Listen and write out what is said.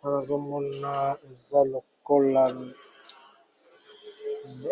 Wana azomoaza lokola